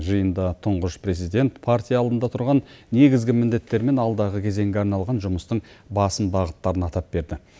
жиында тұңғыш президент партия алдында тұрған негізгі міндеттер мен алдағы кезеңге арналған жұмыстың басым бағыттарын атап берді